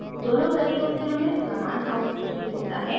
दोनों तरीकों से हमें समान आउटपुट ही मिलता है